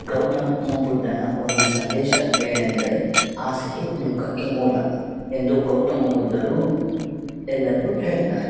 ಗೌತಮ್ ಬುದ್ಧನ ಒಂದು ಸಂದೇಶವೇನೆಂದರೆ ಆಸೆಯೇ ದುಃಖಕ್ಕೆ ಮೂಲ ಎಂದು ಗೌತಮ್ ಬುದ್ಧರು ಎಲ್ಲರಿಗು ಹೇಳಿದ್ದಾರೆ.